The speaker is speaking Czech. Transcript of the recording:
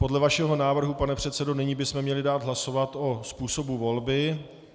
Podle vašeho návrhu, pane předsedo, nyní bychom měli dát hlasovat o způsobu volby.